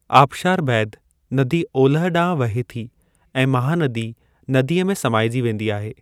आबशार बैदि, नदी ओलह ॾांहुं वहे थी ऐं महानदी नदीअ में समाइजी वेंदी आहे।